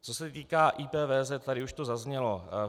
Co se týká IPVZ, tady už to zaznělo.